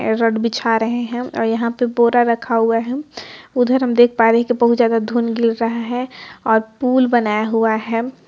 बिछा रहे है है और यहा पे बोरा रखा हुआ है उधर हम देख पा रहे है के बहुत जादा धूल गिर रहा है और पुल बनाया हुआ है।